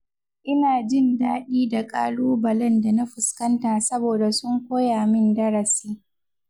Ina jin dadi da ƙalubalen da na fuskanta saboda sun koya min darasi.